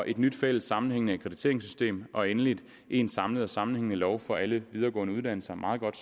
et nyt fælles sammenhængende akkrediteringssystem og endelig en samlet og sammenhængende lov for alle videregående uddannelser meget godt